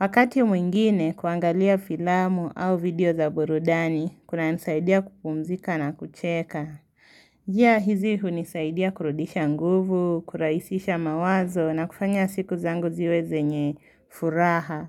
Wakati mwingine kuangalia filamu au video za burudani kunanisaidia kupumzika na kucheka njia hizi hunisaidia kurudisha nguvu, kurahisisha mawazo na kufanya siku zangu ziwe zenye furaha.